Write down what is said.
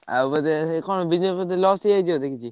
ଆଉ ବୋଧେ ସେଇ କଣ business loss ହେଇଯାଇଚି ଆଜି କିଛି।